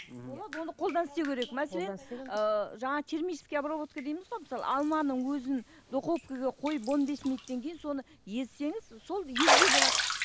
мхм болады оны қолдан істеу керек мәселен ыыы жаңа термический обработка дейміз ғой мысалы алманың өзін духовкаға қойып он бес минуттан кейін соны езсеңіз сол езбе болады